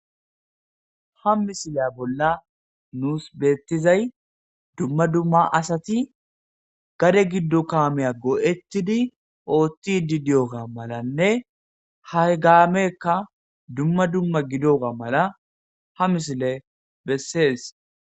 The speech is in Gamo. Ha misileya bolla nus beettizay dumma dumma asati gade giddo kaameya goo'ettidi oothtidi diyoga malanne ha gaamekka dumma dumma gidoga mala ha misile bessees.